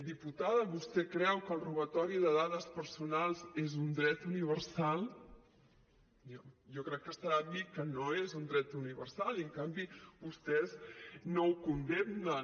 diputada vostè creu que el robatori de dades personals és un dret universal jo crec que estarà amb mi que no és un dret universal i en canvi vostès no ho condemnen